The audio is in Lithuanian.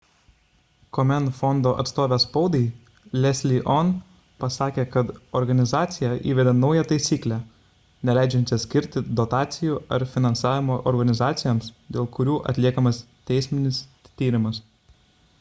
komen fondo atstovė spaudai leslie aun pasakė kad organizacija įvedė naują taisyklę neleidžiančią skirti dotacijų ar finansavimo organizacijoms dėl kurių atliekamas teisinis tyrimas